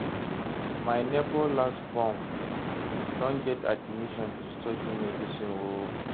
my nebor last born don get admission to study medicine o